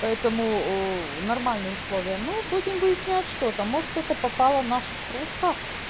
поэтому уу нормальные условия ну будем выяснять что-то может это попала наша стружка